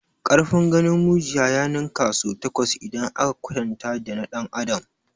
Ƙarfin ganin mujiya ya ninka sau takwas idan aka kwatanta dana ɗan adam.